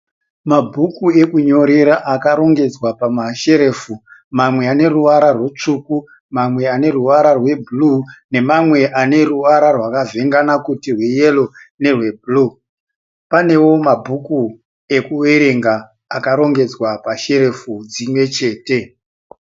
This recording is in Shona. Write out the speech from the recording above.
Mabhuku ekunyorera akarongedzwa pamasherufu. Mamwe ane ruvara rwutsvuku, mamwe ane ruvara rwebhuruu nemamwe ane ruvara rwakavhengana kuti rweyero nerwebhuruu. Panewo mabhuku akuwerenga akarongedzwa pasherufu dzimwe chete.